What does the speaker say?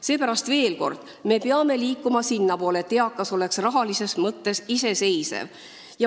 Seepärast veel kord: me peame liikuma sinnapoole, et eakas oleks rahalises mõttes iseseisev.